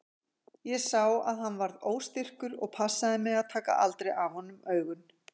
Ég sá að hann varð óstyrkur og passaði mig að taka aldrei af honum augun.